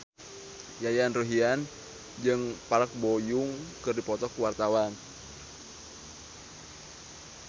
Yayan Ruhlan jeung Park Bo Yung keur dipoto ku wartawan